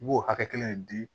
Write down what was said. I b'o hakɛ kelen di